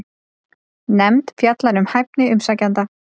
Nefnd fjallar um hæfni umsækjenda